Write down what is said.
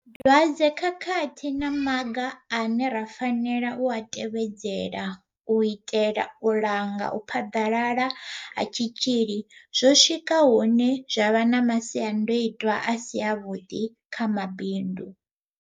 Dwadze khakhathi na maga ane ra fanela u a tevhedzela u itela u langa u phaḓalala ha tshitzhili zwo swika hune zwa vha na masia ndoitwa a si avhuḓi kha mabindu.